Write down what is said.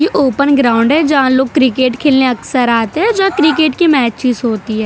ये open ground है जहां लोग क्रिकेट खेलने अक्सर आते हैं जो क्रिकेट के मेचिस होती है।